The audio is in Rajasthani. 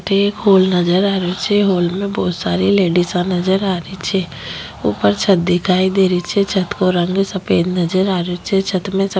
एक हॉल नजर आ रेहो छे हॉल में बहुत सारी लेडिसा नजर आ री छे ऊपर छत दिखाई दे री छे छत को रंग सफ़ेद नजर आ रेहो छे छत में --